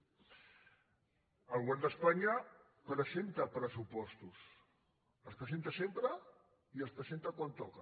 el govern d’espanya presenta pressupostos els presenta sempre i els presenta quan toca